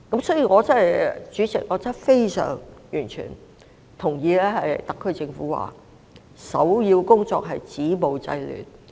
因此，主席，我非常認同特區政府所言，首要工作是止暴制亂。